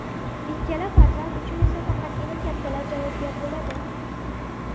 Ikkala farzand uchun esa faqatgina kattalar javobgar bo‘ladi.